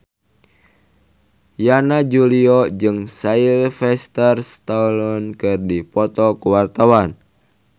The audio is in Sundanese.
Yana Julio jeung Sylvester Stallone keur dipoto ku wartawan